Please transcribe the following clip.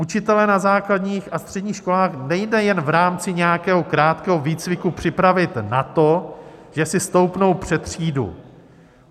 "Učitele na základních a středních školách nejde jenom v rámci nějakého krátkého výcviku připravit na to, že si stoupnou před třídu.